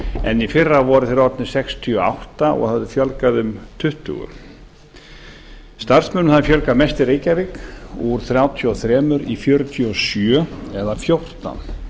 en í fyrra voru þeir orðnir sextíu og átta og hafði fjölgað um tuttugu starfsmönnum hafði fjölgað mest í reykjavík úr þrjátíu og þrjú í fjörutíu og sjö eða fjórtán